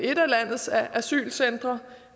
landets asylcentre